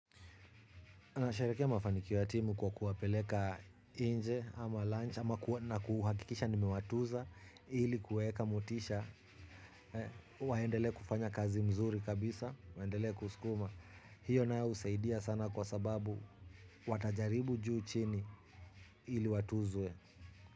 Tunasherehekea mafanikio ya timu kwa kuwapeleka nje ama lunch ama kuhakikisha nimewatuza ili kuwaeka motisha waendelee kufanya kazi mzuri kabisa, waendele kusukuma. Hiyo nayo husaidia sana kwa sababu watajaribu juu chini ili watuzwe.